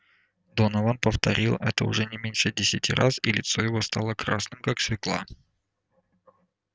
донован повторил это уже не меньше десяти раз и лицо его стало красным как свёкла